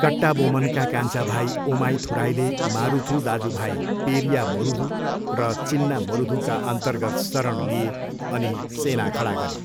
कट्टाबोमनका कान्छा भाइ ओमाइथुराईले मारुथू दाजुभाइ पेरिया मरुधू र चिन्ना मरुधूकाअन्तर्गत शरण लिए अनि सेना खडा गरे।